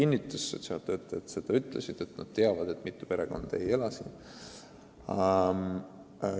Sotsiaaltöötajad ütlesid, et nad teavad, et mitu perekonda ei ela siin.